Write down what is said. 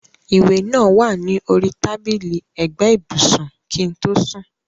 ìwé náà wà ní orí tábìlì ẹ̀gbẹ́ ibùsùn kí n tó sùn.